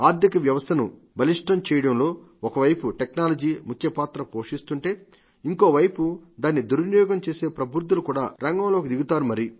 ఆర్థిక వ్యవస్థను బలిష్టం చేయడంలో ఒకవైపు టెక్నాలజీ ముఖ్యపాత్ర పోషిస్తుంటే ఇంకోవైపు దాన్ని దుర్వినియోగం చేసే ప్రబుద్ధులు కూడా రంగంలోకి దిగుతారు